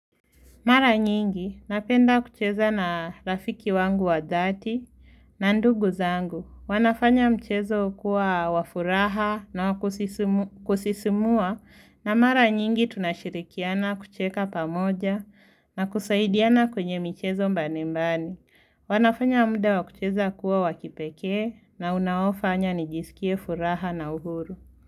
Mara nyingi, napenda kucheza na rafiki wangu wa dhati na ndugu zangu. Wanafanya mchezo kuwa wa furaha na wa kusisimua na mara nyingi tunashirikiana kucheka pamoja na kusaidiana kwenye michezo mbalimbali. Wanafanya mude wa kucheza kuwa wa kipekee na unaofanya nijisikie furaha na uhuru.